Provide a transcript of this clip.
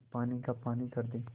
पानी का पानी कर दे